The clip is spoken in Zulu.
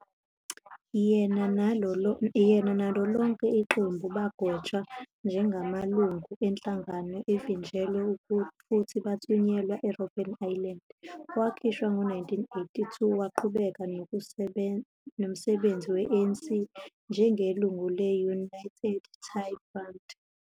Yena nalo lonke iqembu bagwetshwa njengamalungu enhlangano evinjelwe futhi bathunyelwa eRobben Island. Wakhishwa ngo-1982, waqhubeka nomsebenzi we-ANC njengelungu le- United tic Front.